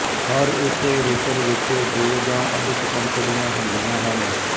ਹਰ ਇੱਕ ਰੋਟਰ ਵਿੱਚ ਵਿੱਚ ਦੋ ਜਾਂ ਅਧਿਕ ਪੰਖੁੜੀਆਂ ਹੁੰਦੀਆਂ ਹਨ